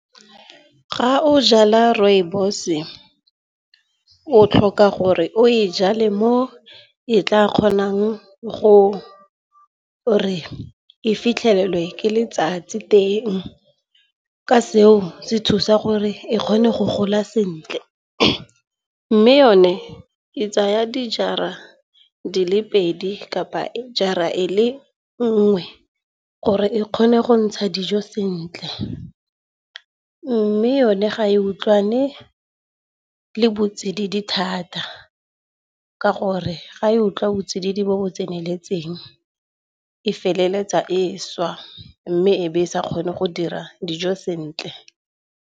Ga o jala rooibos-e o tlhoka gore o e jale mo e tla kgonang go re e fitlhelelwe ke letsatsi teng. Ka seo se thusa gore e kgone go gola sentle. Mme yone e tsaya dijara di le pedi kapa e jara e le nngwe, gore e kgone go ntsha dijo sentle. Mme yone ga e utlwane le botsididing thata, ka gore ga e utlwa botsididing bo bo tseneletseng e feleletsa e swa. Mme e be e sa kgone go dira dijo sentle.